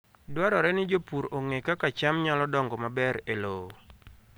Dwarore ni jopur ong'e kaka cham nyalo dongo maber e lowo.